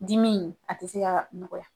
Diminw a ti se ka nɔgɔya .